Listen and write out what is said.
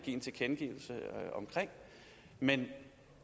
en tilkendegivelse af men